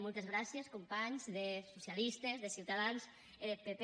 moltes gràcies companhs de socialistes de ciutadans e deth pp